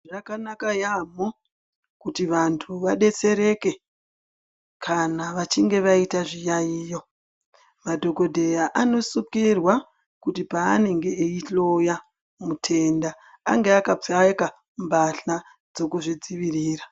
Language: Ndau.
Zvakanaka yaamho kuti vantu vadetsereke kana vachinge vaita zviyaiyo, madhokodheya anosukirwa kuti panenge eihloya mutenda ange akapfeka mbahla dzeku zvidzivirira.